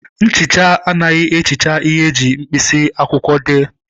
Nchicha anaghị ehicha ihe eji mkpịsị akwụkwọ dee.